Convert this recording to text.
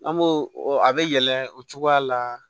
An b'o o a bɛ yɛlɛ o cogoya la